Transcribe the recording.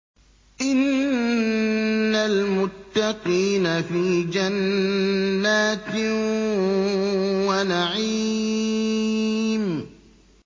إِنَّ الْمُتَّقِينَ فِي جَنَّاتٍ وَنَعِيمٍ